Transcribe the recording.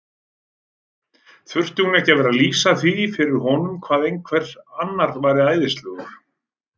Þurfti hún að vera að lýsa því fyrir honum hvað einhver annar væri æðislegur?